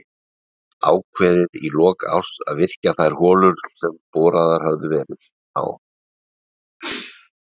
Ákveðið í lok árs að virkja þær holur sem boraðar höfðu verið á